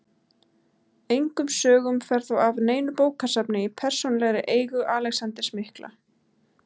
Engum sögum fer þó af neinu bókasafni í persónulegri eigu Alexanders mikla.